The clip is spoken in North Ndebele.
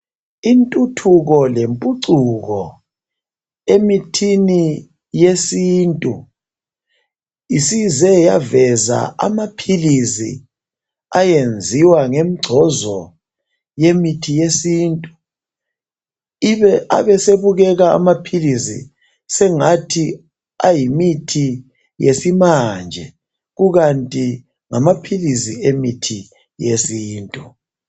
Intuthuko lempucuko emithini yesintu isize yaveza amaphilizi ayenziwa ngemgcozo yemithi yesintu. Abesebukeka amaphilisi sengathi ayimithi yesimanje, kukanti ngamaphilizi emithi yesintu.